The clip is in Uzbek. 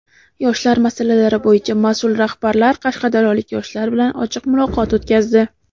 Yoshlar masalalari bo‘yicha mas’ul rahbarlar qashqadaryolik yoshlar bilan ochiq muloqot o‘tkazdi.